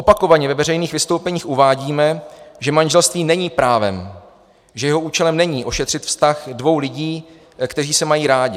Opakovaně ve veřejných vystoupeních uvádíme, že manželství není právem, že jeho účelem není ošetřit vztah dvou lidí, kteří se mají rádi.